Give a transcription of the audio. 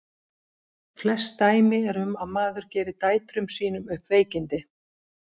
Flest dæmi eru um að mæður geri dætrum sínum upp veikindi.